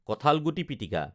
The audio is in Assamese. কঁঠালগুটি পিটিকা